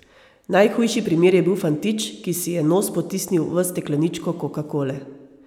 Najhujši primer je bil fantič, ki si je nos potisnil v stekleničko kokakole.